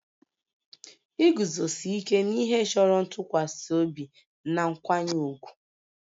Iguzosi ike n'ihe chọrọ ntụkwasị obi na nkwanye ùgwù